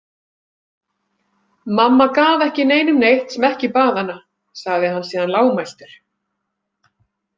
Mamma gaf ekki neinum neitt sem ekki bað hana, sagði hann síðan lágmæltur.